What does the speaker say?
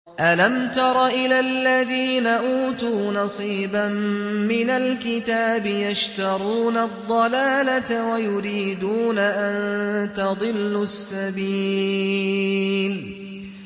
أَلَمْ تَرَ إِلَى الَّذِينَ أُوتُوا نَصِيبًا مِّنَ الْكِتَابِ يَشْتَرُونَ الضَّلَالَةَ وَيُرِيدُونَ أَن تَضِلُّوا السَّبِيلَ